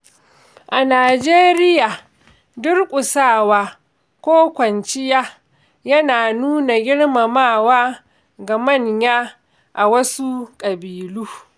A Najeriya, durƙusawa ko kwanciya yana nuna girmamawa ga manya a wasu ƙabilu.